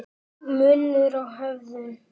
Munur á hefðum